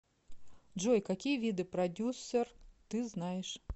джой какие виды продюсер ты знаешь